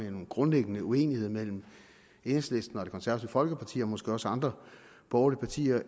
en grundlæggende uenighed mellem enhedslisten og det konservative folkeparti at gøre og måske også andre borgerlige partier